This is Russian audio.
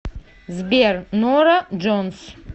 сбер нора джонс